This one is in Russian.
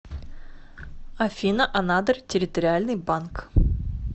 афина анадырь территориальный банк